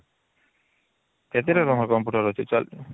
କେତେଟା ତମର computer ଅଛି